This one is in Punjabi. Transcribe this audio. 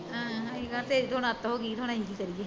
ਅਸੀਂ ਕਿਹਾਂ ਹੁਣ ਤੇ ਅੱਤ ਹੋਗੀ ਹੁਣ ਅਸੀਂ ਵੀ ਕੀ ਕਰੀਏ